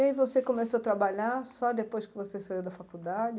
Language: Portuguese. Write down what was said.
E aí você começou a trabalhar só depois que você saiu da faculdade?